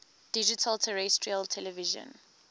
digital terrestrial television